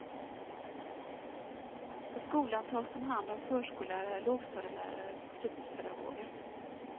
På skolan tas de om hand av förskollärare, lågstadielärare och fritidspedagoger.